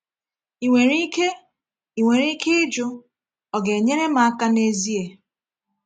Ị nwere ike Ị nwere ike ịjụ, ‘Ọ ga-enyere m aka n’ezie?’